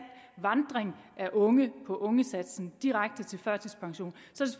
vandring af unge på ungesatsen og direkte til førtidspension så